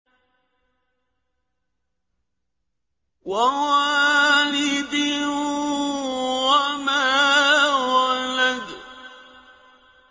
وَوَالِدٍ وَمَا وَلَدَ